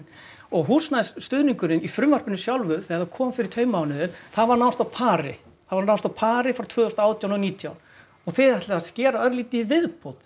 og húsnæðisstuðningurinn í frumvarpinu sjálfu þegar það kom fyrir tveimur mánuðum það var nánast á pari það var nánast á pari frá tvö þúsund og átján og nítján og þið ætlið að skera örlítið í viðbót